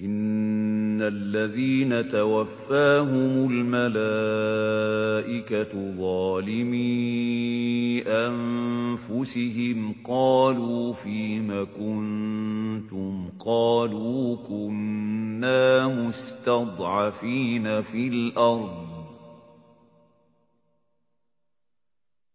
إِنَّ الَّذِينَ تَوَفَّاهُمُ الْمَلَائِكَةُ ظَالِمِي أَنفُسِهِمْ قَالُوا فِيمَ كُنتُمْ ۖ قَالُوا كُنَّا مُسْتَضْعَفِينَ فِي الْأَرْضِ ۚ